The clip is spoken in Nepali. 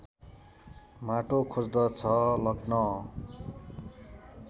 माटो खोज्दछ लग्न